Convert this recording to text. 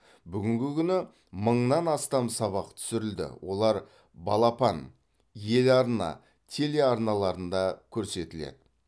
бүгінгі күні мыңнан астам сабақ түсірілді олар балапан ел арна телеарналарында көрсетіледі